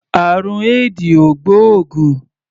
Àrùn éèdì ò gbóògùn.